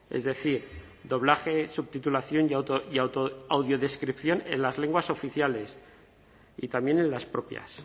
es decir doblaje subtitulación y autoaudiodescripción en las lenguas oficiales y también en las propias